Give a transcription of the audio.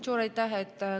Suur aitäh!